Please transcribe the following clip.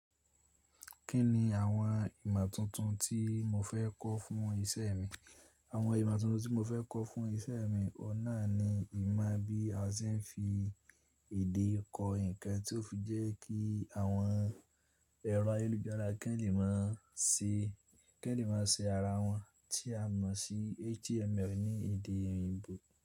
Kí ni àwọn ìmọ̀ tuntun tí mo fẹ́ kọ́ fún iṣẹ́ mi? Àwọn ìmọ̀ tuntun tí mo fẹ́ kọ́ fún iṣẹ́ mi ọ̀un na ni ìmọ̀ bí a ṣe ń fi èdè kọ nǹkan tí ó fi jẹ́ kí àwọn ẹ̀rọ ayélujára kì ń lè máa ṣe, kì ń lè máa ṣe ara wọn tí a mọ̀ sí HTML ní èdè òyìnbó.